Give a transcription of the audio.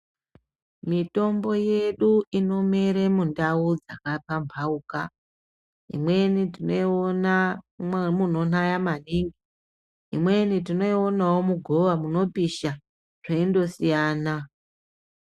Mitombo yedu inomere mundau dzakapambauka. Imweni tinoyiona munonaya maningi. Imweni tinoyionawo mugova munopisha, zveindosiyana.